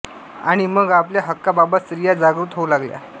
आणि मग आपल्या हक्कांबाबत स्त्रिया जागृत होऊ लागल्या